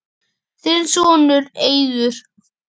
Þinn sonur, Eiður.